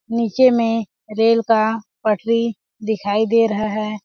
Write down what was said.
नीचे में रेल का पटरी दिखाई दे रहा है।